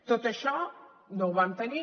tot això no ho vam tenir